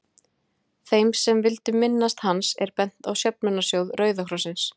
Þeim sem vildu minnast hans er bent á söfnunarsjóð Rauða krossins.